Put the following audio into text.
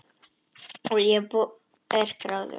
Og ég er gráðug.